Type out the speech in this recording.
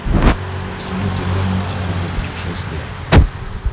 салют играй музыку для путешествия